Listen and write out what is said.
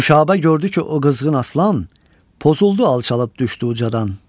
Nüşabə gördü ki, o qızğın aslan pozuldu, alçalıb düşdü ucadan.